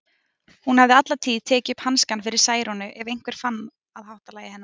Hún hafði alla tíð tekið upp hanskann fyrir Særúnu ef einhver fann að háttalagi hennar.